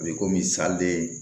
A bɛ komi